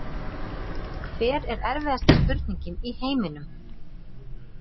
Hver er erfiðasta spurningin í heiminum?